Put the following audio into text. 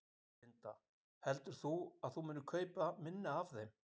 Linda: Heldur þú að þú munir kaupa minna af þeim?